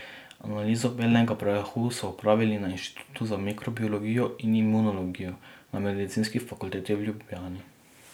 Analizo belega prahu so opravili na Inštitutu za mikrobiologijo in imunologijo na Medicinski fakulteti v Ljubljani.